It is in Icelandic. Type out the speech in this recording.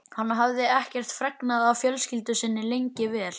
Hann hafði ekkert fregnað af fjölskyldu sinni lengi vel.